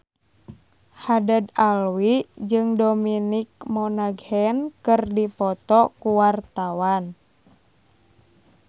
Haddad Alwi jeung Dominic Monaghan keur dipoto ku wartawan